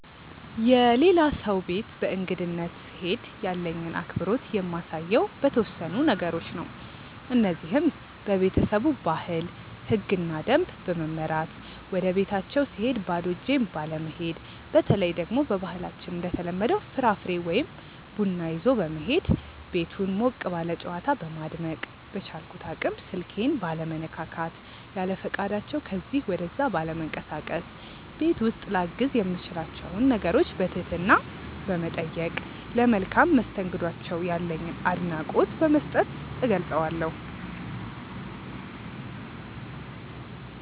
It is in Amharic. የሌላ ሰው ቤት በእንግድነት ስሄድ ያለኝን አክብሮት የማሳየው በተወሰኑ ነገሮች ነው። እነዚህም:- በቤተሰቡ ባህል፣ ህግና ደንብ በመመራት፣ ወደቤታቸው ስሄድ ባዶ እጄን ባለመሄድ፣ በተለይ ደግሞ በባህላችን እንደተለመደው ፍራፍሬ ወይ ቡና ይዞ በመሄድ፣ ቤቱን ሞቅ ባለ ጨዋታ በማድመቅ፣ በቻልኩት አቅም ስልኬን ባለመነካካት፣ ያለፈቃዳቸው ከዚ ወደዛ ባለመንቀሳቀስ፣ ቤት ውስጥ ላግዝ የምችላቸውን ነገሮች በትህትና በመጠየቅ፣ ለመልካም መስተንግዷቸው ያለኝን አድናቆት በመስጠት እገልፀዋለሁ።